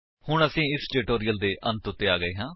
ਹੁਣ ਅਸੀ ਇਸ ਟਿਊਟੋਰਿਅਲ ਦੇ ਅੰਤ ਵਿੱਚ ਆ ਗਏ ਹੈ